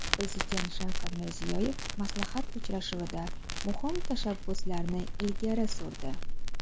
Prezident Shavkat Mirziyoyev maslahat uchrashuvida muhim tashabbuslarni ilgari surdi .